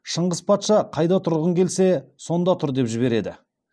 шыңғыс патша қайда тұрғың келсе сонда тұр деп жібереді